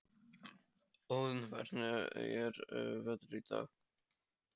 Óðinn, hvernig er veðrið í dag?